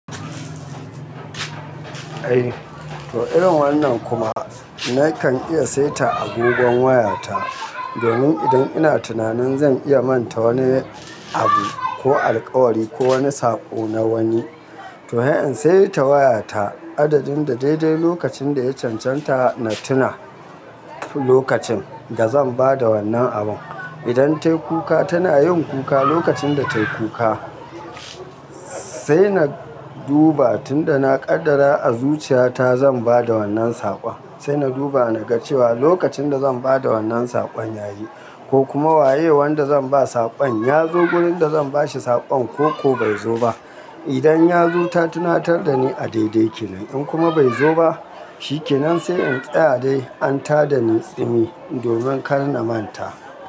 Eh, to irin wannan kuma na kan iya saita agogon wayata domin idan ina tunanin zan iya manta wani abu ko alkawari ko wani saƙo na wani, to sai in sai ta wayata adadin da daidai lokacin da ya cancanta na tuna lokacin da zan ba da wannan abun. Idan ta yi kuka, tana yin kuka, lokacin da ta yi kuka sai na duba tun da na kaddara a zuciyata zan ba da wannan saƙon. Sai na duba na ga cewa lokacin da zan ba da wannan saƙon yayi ko kuma waye wanda zan ba saƙon ya zo gurin da zan bashi saƙon ko bai zo ba. Idan ya zo, ta tunatar da ni a daidai kenan. In kuma bai zo ba, shi kenan sai in tsaya dai an tada ni tsimi domin kar na manta.